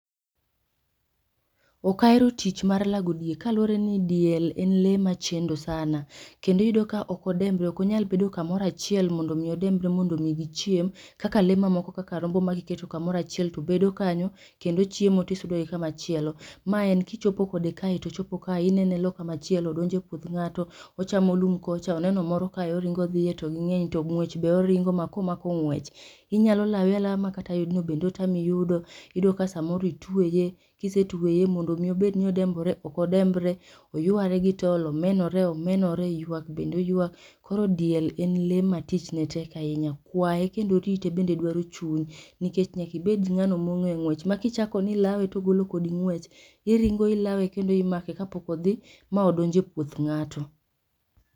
Okahero tich mar lago diel, kaluore ni diel en lee machendo sana. Kendo iyudo ka okodembre okonyal bedo kamoro achiel mondo omiii odembre mondo mii gichiem kaka lee mamoko kaka rombo makiketo kamoro achiel to bedo kanyo kendo ochiemo tisudogi kama chielo. Ma en kichopo kode kae tochopo kae inene e loo kamachielo odonjo e puoth ng'ato, ochamo lum kocha, oneno moro kae oringo odhie to ginyeny ng'wech be oringo komako ng'wech ,inyalo lawe alawa makata yudno be otami yudo. Iyudo ka samoro itweye, kisetweye mondo omii obed odembre okodembre oyware gi tol, omenore omenore ywak bende oywak. Koro diel en le ma tichne tek ahinya, kwaye kendo rite bende dwaro chuny nikech nyakibed ng'ano mong'e ng'wech makichakoni ilawe tochako kodi ng'wech iringo ilawe kendo imake kapok odhii maodonjo e puoth ng'ato.